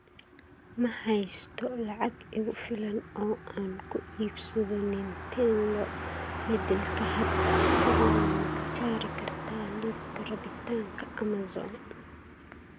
Ma haysto lacag igu filan oo aan ku iibsado nintendo beddelka hadda, fadlan ma ka saari kartaa liiska rabitaanka amazon